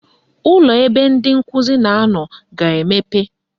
Ụlọ ebe ndị nkụzi na-anọ ga-emepe